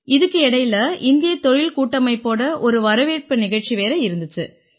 இதுக்கு இடையில இந்திய தொழில்கூட்டமைப்போட ஒரு வரவேற்பு நிகழ்ச்சி வேற இருந்திச்சு